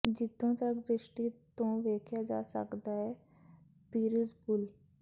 ਜਿੱਥੋਂ ਤੱਕ ਦ੍ਰਿਸ਼ਟੀ ਤੋਂ ਵੇਖਿਆ ਜਾ ਸਕਦਾ ਹੈ ਪੀਰਿਜ਼ ਪੂਲ